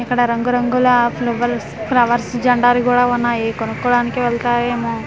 ఇక్కడ రంగు రంగుల ఫ్లూవులస్ ఫ్లవర్స్ జండాలు కూడా ఉన్నాయి కొనుకోవడానికి వెళ్తారేమో చా--